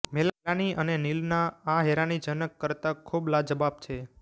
મેલાની અને નીલ ના આ હૈરાનીજનક કરતા ખુબ લાજવાબ છે